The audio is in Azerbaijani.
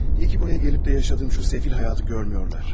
Yaxşı ki, buraya gəlib də yaşadığım bu sefil həyatı görmürlər.